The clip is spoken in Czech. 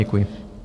Děkuji.